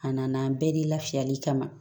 A nana bɛɛ de la fiyali kama